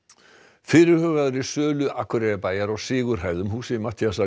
fyrirhugaðri sölu Akureyrarbæjar á Sigurhæðum húsi Matthíasar